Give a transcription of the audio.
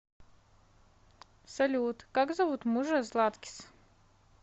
салют как зовут мужа златкис